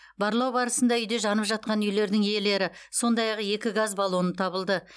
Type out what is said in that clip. барлау барысында үйде жанып жатқан үйлердің иелері сондай ақ екі газ баллоны табылды